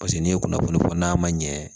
Paseke n'i ye kunnafoni fɔ n'a ma ɲɛ